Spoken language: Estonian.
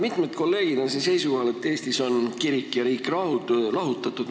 Mitmed kolleegid on siin seisukohal, et Eestis on kirik ja riik lahutatud.